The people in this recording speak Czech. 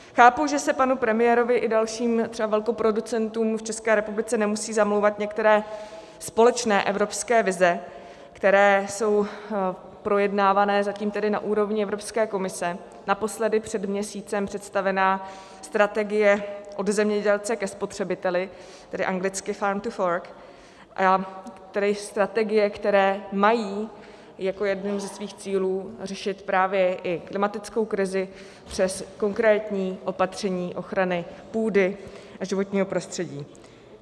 Chápu, že se panu premiérovi i dalším třeba velkoproducentům v České republice nemusí zamlouvat některé společné evropské vize, které jsou projednávané zatím tedy na úrovni Evropské komise, naposledy před měsícem představená strategie Od zemědělce ke spotřebiteli, tedy anglicky Farm to Fork, a tedy strategie, které mají jako jeden ze svých cílů řešit právě i klimatickou krizi přes konkrétní opatření ochrany půdy a životního prostředí.